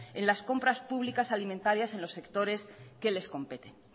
en las compras públicas alimentarias en los sectores que les competen